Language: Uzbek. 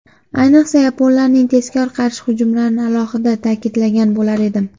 Ayniqsa, yaponlarning tezkor qarshi hujumlarini alohida ta’kidlagan bo‘lar edim.